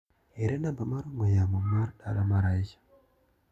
Ere namba mar ong'ue yaoi ma dala mar Asha.